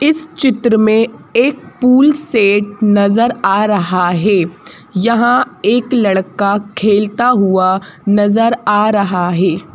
इस चित्र में एक पूल सेट नज़र आ रहा है यहाँ एक लड़का खेलता हुआ नज़र आ रहा है।